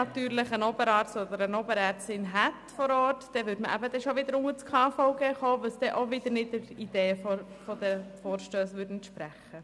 Hätte man einen Oberarzt vor Ort, würde dies bereits unter dem KVG laufen, weil es wiederum nicht der Idee der Vorstösse entspräche.